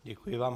Děkuji vám.